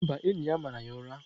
Mba, enyi ya mara ya ụra.